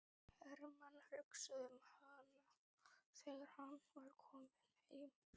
Hermann hugsaði um hana þegar hann var kominn heim.